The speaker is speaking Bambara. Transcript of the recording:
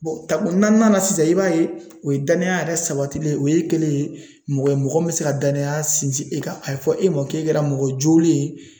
tako naaninan na sisan i b'a ye o ye danaya yɛrɛ sabatilen ye o ye kelen ye mɔgɔ ye mɔgɔ min bɛ se ka danaya sinsin e kan a ye fɔ e ma k'e kɛra mɔgɔ jolen ye